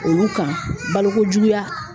Olu kan balokojuguya